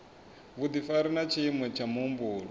vhudifari na tshiimo tsha muhumbulo